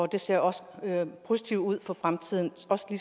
det ser også positivt ud for fremtiden